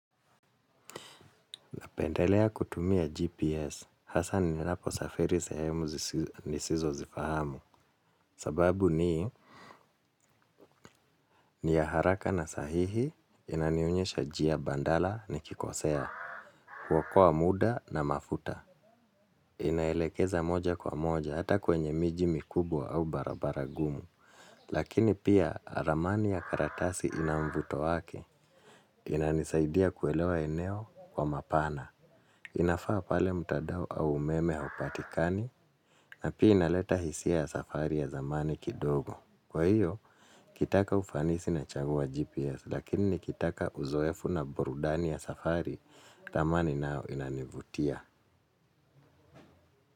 Napendelea kutumia GPS hasa ninaposafiri sehemu nisizozifahamu. Sababu ni, ni ya haraka na sahihi, inanionyesha njia mbadala nikikosea, huokoa muda na mafuta. Inaelekeza moja kwa moja, hata kwenye miji mikubwa au barabara gumu. Lakini pia, ramani ya karatasi ina mvuto wak, inanisaidia kuelewa eneo kwa mapana. Inafaa pale mtandao au umeme haupatikani na pia inaleta hisia ya safari ya zamani kidogo. Kwa hiyo nikitaka ufanisi nachagua GPS lakini nikitaka uzoefu na burudani ya safari ramani nayo inanivutia.